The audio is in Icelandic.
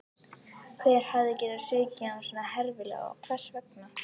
Hver hafði getað svikið hann svona herfilega og hvers vegna?